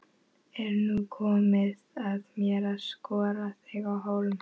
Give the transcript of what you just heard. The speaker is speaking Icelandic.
Er nú komið að mér að skora þig á hólm?